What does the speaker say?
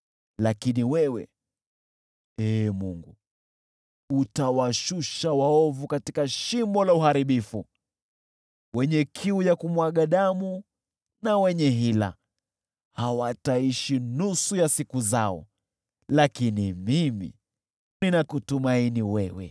Lakini wewe, Ee Mungu, utawashusha waovu katika shimo la uharibifu. Wenye kiu ya kumwaga damu na wenye hila, hawataishi nusu ya siku zao. Lakini mimi ninakutumaini wewe.